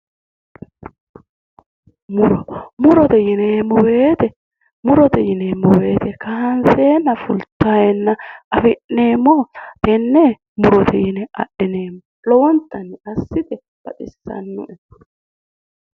Muro murote yineemmo woyite murote yineemmo woyite kaanseenna fulteenna afi'neemmohura tenne murote yine adhineemmo lowontanni dassi yite baxissanno'e